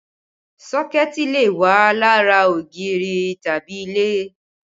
Sọ́kẹ̀tì lè wà lára ògiri tàbí ilẹ̀